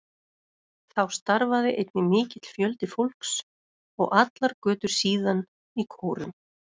Þá starfaði einnig mikill fjöldi fólks, og allar götur síðan, í kórum.